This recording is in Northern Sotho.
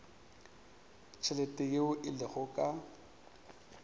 tšhelete yeo e lego ka